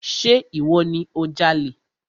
Ṣe ìwọ ni o jalè?